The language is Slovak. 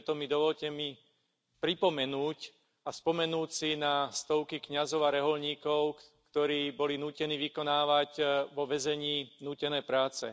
Preto mi dovoľte pripomenúť a spomenúť si na stovky kňazov a rehoľníkov, ktorí boli nútení vykonávať vo väzení nútené práce.